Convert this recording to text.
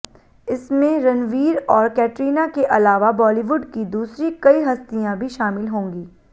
इसमें रणवीर और कैटरीना के अलावा बॉलीवुड की दूसरी कई हस्तियां भी शामिल होंगी